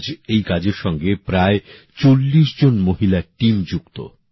আজ এই কাজের সঙ্গে প্রায় ৪০ জন মহিলার দল যুক্ত